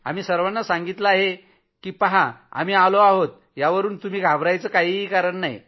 आम्ही सर्वाना सांगितलं आहे की पहा आम्ही आलो आहोत यावरून घाबरायचं काहीच कारण नाही